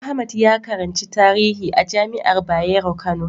Ahmad ya karanci tarihi a jami'ar Bayero Kano.